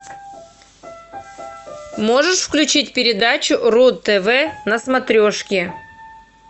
можешь включить передачу ру тв на смотрешке